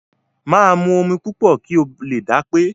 Máa mu omi púpọ̀ kí o lè dápé.